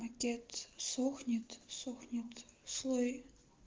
отец сохнет сохнет слой